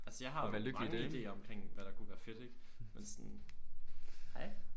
Altså jeg har jo mange idéer omkring hvad der kunne være fedt ikke men sådan. Hej